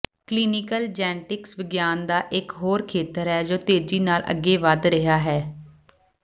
clinical genetics ਵਿਗਿਆਨ ਦਾ ਇੱਕ ਹੋਰ ਖੇਤਰ ਹੈ ਜੋ ਤੇਜ਼ੀ ਨਾਲ ਅੱਗੇ ਵਧ ਰਿਹਾ ਹੈ